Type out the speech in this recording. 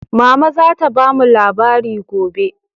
Mama za ta bamu labari gobe.